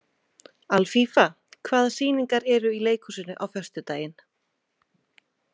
Alfífa, hvaða sýningar eru í leikhúsinu á föstudaginn?